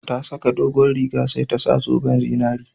Ta saka dogon riga sai ta sa zoben zinari